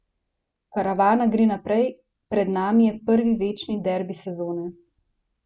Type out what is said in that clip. Karavana gre naprej, pred nami je prvi večni derbi sezone!